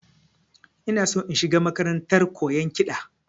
Ina shi in shiga makarantar koyan kiɗa